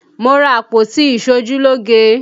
Mo ra àpótí iṣojúlógé